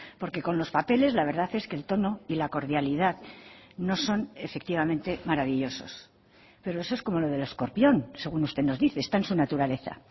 porque con los papeles la verdad es que el tono y la cordialidad no son efectivamente maravillosos pero eso es como lo del escorpión según usted nos dice está en su naturaleza